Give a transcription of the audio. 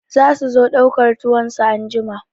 Za su zo ɗaukar tuwon su anjima.